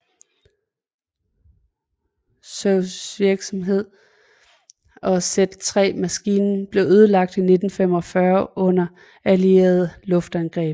Zuses virksomhed og Z3 maskinen blev ødelagt i 1945 under allierede luftangreb